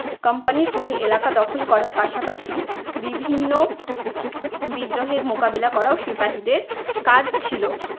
company র হয়ে এলাকা দখল করার পাশাপাশি বিভিন্ন বিদ্রোহের মোকাবিলা করাও সিপাহিদের কাজ ছিলো।